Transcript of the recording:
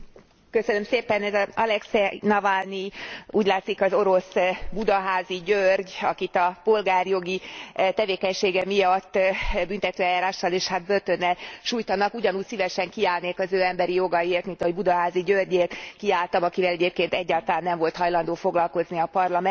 Elnök asszony, ez az Alekszej Navalnij úgy látszik az orosz Budaházi György, akit a polgárjogi tevékenysége miatt büntetőeljárással és börtönnel sújtanak. Ugyanúgy szívesen kiállnék az ő emberi jogaiért, mint ahogy Budaházi Györgyért kiálltam, akivel egyébként egyáltalán nem volt hajlandó foglalkozni a Parlament.